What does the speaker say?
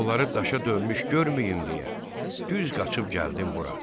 Onları daşa dönmüş görməyim deyə düz qaçıb gəldim bura.